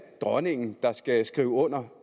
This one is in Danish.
dronningen der skal skrive under